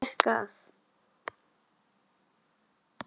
Hann gekk að